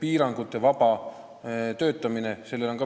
piirangutevaba töötamisega.